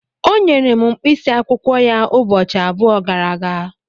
O nyere m mkpịsị akwụkwọ ya ụbọchị abụọ gara aga.